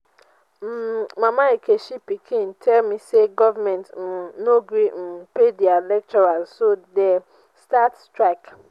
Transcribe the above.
um mama nkechi pikin tell me say government um no gree um pay their lecturers so dey start strike